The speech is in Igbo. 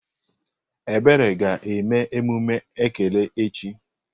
Ebere ga eme emume ekele echi.